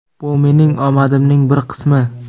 Bu mening omadimning bir qismi.